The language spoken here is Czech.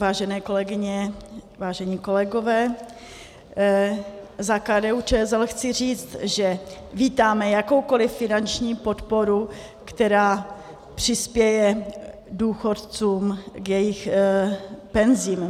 Vážené kolegyně, vážení kolegové, za KDU-ČSL chci říct, že vítáme jakoukoli finanční podporu, která přispěje důchodcům k jejich penzím.